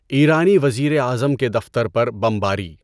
ایرانی وزیر اعظم کے دفتر پر بمباری